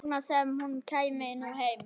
Þess vegna sem hún kæmi nú heim.